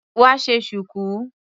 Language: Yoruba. Wá ṣe ṣùkú.